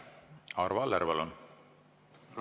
Arvo Aller, palun!